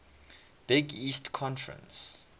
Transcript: big east conference